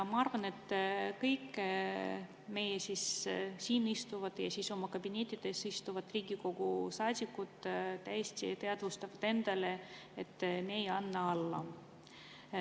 Ma arvan, et kõik siin istuvad ja oma kabinettides istuvad Riigikogu saadikud täiesti teadvustavad endale, et me ei anna alla.